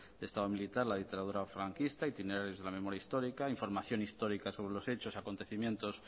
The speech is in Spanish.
de estado militar la dictadura franquista itinerarios de la memoria histórica información histórica sobre los hechos acontecimientos